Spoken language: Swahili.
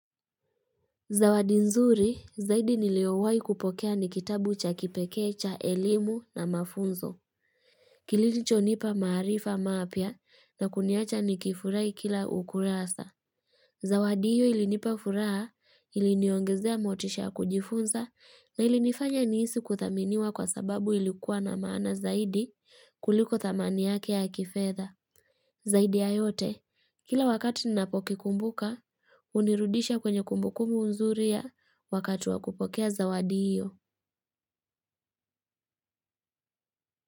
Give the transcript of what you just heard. Zawadi nzuri zaidi niliowahi kupokea ni kitabu cha kipekee cha elimu na mafunzo. Kilicho nipa maarifa mapya na kuniacha nikifurahi kila ukurasa. Zawadi hiyo ilinipa furaha ili niongezea motisha ya kujifunza ilinifanya nihisi kudhaminiwa kwa sababu ilikuwa na maana zaidi kuliko thamani yake ya kifedha. Zaidi ya yote, kila wakati ninapo kikumbuka, hunirudisha kwenye kumbukumbu zuria ya wakati wa kupokea zawadi hiyo.